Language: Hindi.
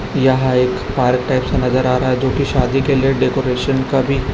यहां एक आर्केस्ट्रा नजर आ रहा है जो की शादी के लिए डेकोरेशन का भी--